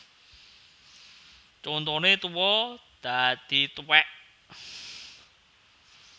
Contone tuwa dadi tuwèk